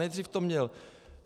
Nejdřív to měl...